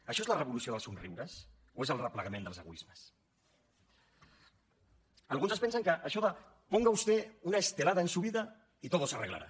això és la revolució dels somriures o és el replegament dels egoismes alguns pensen això de ponga usted una estelada en su vida y todo se arreglará